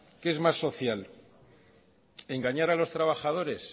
qué es más social engañar a los trabajadores